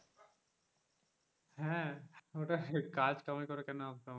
হ্যাঁ ওটাই কাজ কামাই করে কেন আসবে আমার কাছে,